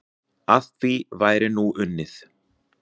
Að því væri nú unnið.